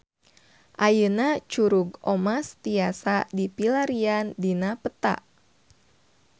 Ayeuna Curug Omas tiasa dipilarian dina peta